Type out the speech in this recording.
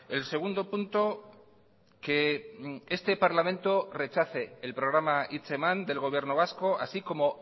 el segundo punto que este parlamento rechace el programa hitzeman del gobierno vasco así como